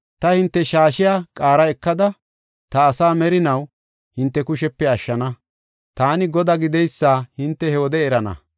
Taani hinte shaashiya qaara ekada, ta asaa merinaw hinte kushepe ashshana. Taani Godaa hinte he wode erana.